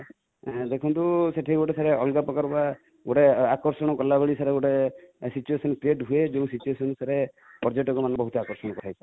ଦେଖନ୍ତୁ ସେଠି ଗୋଟେ sir ସେଠି ଅଲଗାପ୍ରକାର ଗୋଟେ ଆକର୍ଷଣ କରିଲାଭଳି ସାର ଗୋଟେ situation create ହୁଏ ଯୋଉ situation ରେ ପର୍ଯ୍ୟଟକ ମାନେ ବହୁତ ଆକର୍ଷଣ ହେଇଥାନ୍ତି